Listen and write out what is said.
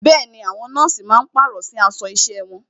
Bẹẹni, àwọn nọ́ọ̀sì máa pàrọ̀ sí aṣọ isẹ wọn.